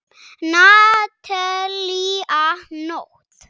Natalía Nótt.